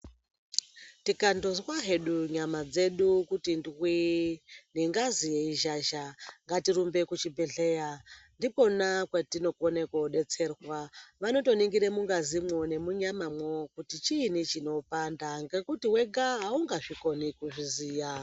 Tikandozwa hedu nyama dzedu kuti ndwii nengazi yeizhazha, ngatirumbe kuchibhehleya ndikona kwatinokone kuodetserwa. Vanotoningire mungazimwo nemunyamamwo kuti chiini chinopanda ngekuti wega haungazvikoni kuzviziya.